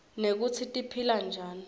nekutsi tiphila njani